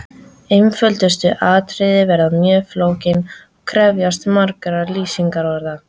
Einföldustu atriði verða mjög flókin og krefjast margra lýsingarorða.